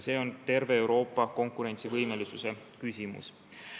See on terve Euroopa konkurentsivõime küsimus.